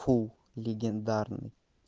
фул легендарный